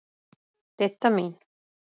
Didda mín.